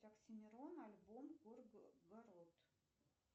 оксимирон альбом горгород